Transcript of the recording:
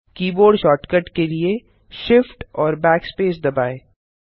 keyboard shortcut के लिए shift और backspace दबाएँ